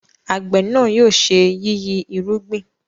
àgbẹ̀ náà yóò ṣe yiyi irúgbìn